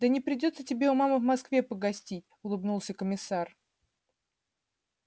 да не придётся тебе у мамы в москве погостить улыбнулся комиссар